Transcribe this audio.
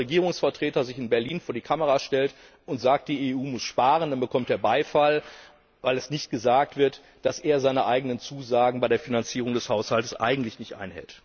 Wenn ein deutscher Regierungsvertreter sich in Berlin vor die Kamera stellt und sagt, die EU muss sparen, dann bekommt er Beifall, weil nicht gesagt wird, dass er seine eigenen Zusagen bei der Finanzierung des Haushalts eigentlich nicht einhält.